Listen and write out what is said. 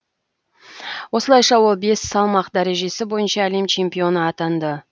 осылайша ол бес салмақ дәрежесі бойынша әлем чемпионы атанды